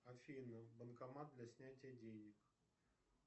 афина банкомат для снятия денег